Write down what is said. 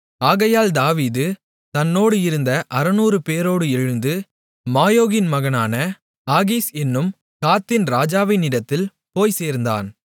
ஆகையால் தாவீது தன்னோடு இருந்த 600 பேரோடு எழுந்து மாயோகின் மகனான ஆகீஸ் என்னும் காத்தின் ராஜாவினிடத்தில் போய்ச் சேர்ந்தான்